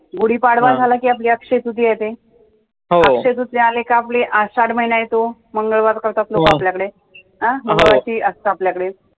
गुढीपाडवा झाला कि आपली अक्षय तृतीय येते, अक्षय तृतीय अली का आपली आषाढ महिना येतो मंगळवार आपल्याकडे असतं आपल्याकडे